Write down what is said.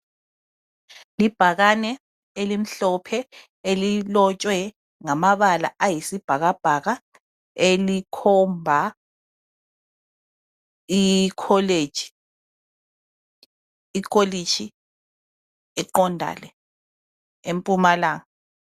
Libhakane elimhlophe elilotshwe ngamabala ayisibhakabhaka elikhomba ikholeji, ikolitshi eqondale empumalanga.